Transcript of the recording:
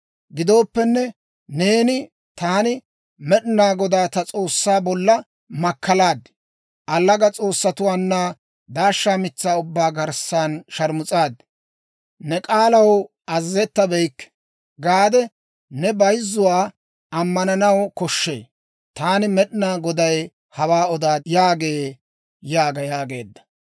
Gidooppenne, neeni, Taani Med'inaa Godaa ta S'oossaa bolla makkalaad. Allaga s'oossatuwaanna daashsha mitsaa ubbaa garssan sharmus'aad. Ne k'aalaw azazettabeyikke› gaade ne bayzzuwaa ammananaw koshshee. Taani Med'inaa Goday hawaa odaad» yaagee yaaga yaageedda.